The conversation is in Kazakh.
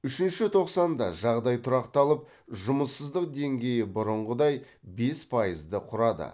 үшінші тоқсанда жағдай тұрақталып жұмыссыздық деңгейі бұрынғыдай бес пайызды құрады